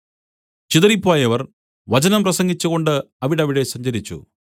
ചിതറിപ്പോയവർ വചനം പ്രസംഗിച്ചുകൊണ്ട് അവിടവിടെ സഞ്ചരിച്ചു